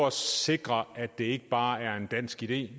at sikre at det ikke bare er en dansk idé